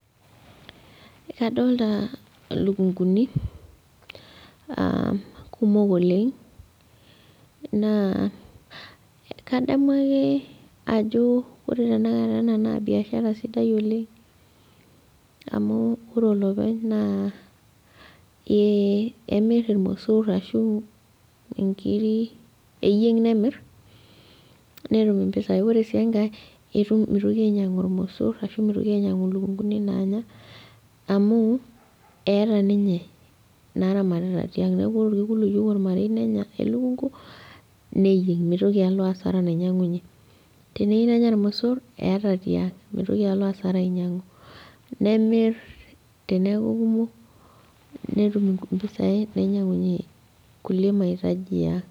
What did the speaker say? Kadolita aa ilukunguni a kumok oleng' naa kadamu ake ajo ore tenakata ena naa biashara sapuk oleng amu ore olopeny naa ee emir irmosor ashu inkiri eyieng nemir , netum impisai, ore sii enkae itu mitoki ainyiangu irmosor ashu mitoki ainyiangu lukunguni nanya amu eeta ninye inaramatita , niaku ore orkekun oyieu ormarei nenya elukungu neyieng , mitoki alo asara nainyiangunyie , teneyiu nenya irmosor , eeta tiang , mitoki alo asara ainyiangu , nemir teneku kumok , netum mpisai nainyiangunyie kulie mahitaji eang'.